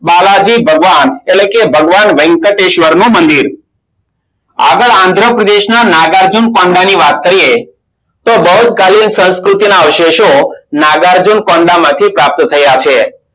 બાલાજી ભાગવાનાં એટલે કે ભગવાન વેંકટેશ્વર નું મંદિર આગળ આંધ્રપ્રદેશ ના નાગાર્જુન કોન્ડા ની વાત કરીયે તો બહુતકાલીન સંસ્કૃતિના અવશેષો નાગાર્જુન કોન્ડા માંથી પ્રાપ્ત થયા છે